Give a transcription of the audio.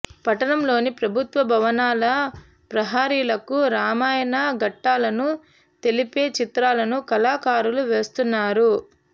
పట్టణంలోని ప్రభుత్వ భవనాల ప్రహరీలకు రామాయణ ఘట్టాలను తెలిపే చిత్రాలను కళాకారులు వేస్తున్నారు